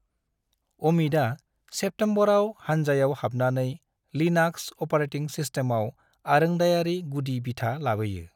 अमितआ सेप्टेमबराव हानजायाव हाबनानै लिनाक्स अपारेटिं सिस्टमाव आरोंदायारि गुदि बिथा लाबोयो ।